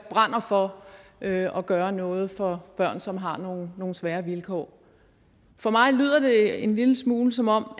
brænder for at gøre noget for børn som har nogle nogle svære vilkår for mig lyder det en lille smule som om